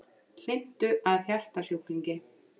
Hlynntu að hjartasjúklingi